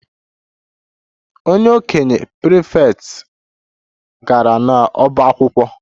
The okenye prefect gara n'ọbá akwụkwọ